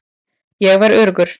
Ég var öruggur.